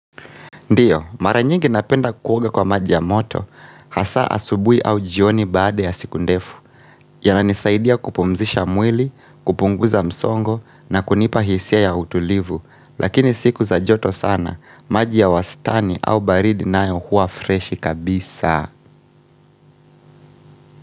Ndiyo, mara nyingi napenda kuoga kwa maji ya moto, hasa asubui au jioni baada ya siku ndefu yananisaidia kupumzisha mwili, kupunguza msongo na kunipa hisia ya utulivu Lakini siku za joto sana, maji ya wastani au baridi nayo huwa fresh kabisa.